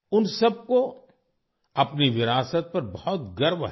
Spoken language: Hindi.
उन सबको अपनी विरासत पर बहुत गर्व है